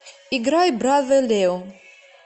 играй бразэ лео